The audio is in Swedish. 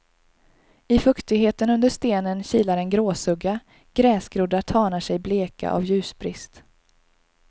I fuktigheten under stenen kilar en gråsugga, gräsgroddar tanar sig bleka av ljusbrist.